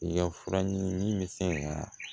I ka fura ɲinini misɛn